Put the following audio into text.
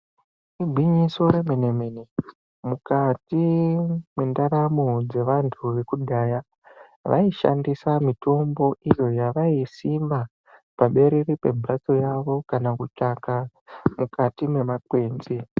Igwinyiso remene-mene, mukati mwendaramo dzevantu vekudhaya, vaishandisa mitombo iyo yavaisima, paberere pemphatso yavo, kana kutsvaka, mukati mwemakwenzi.